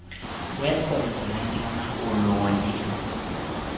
wephondo lentshona koloni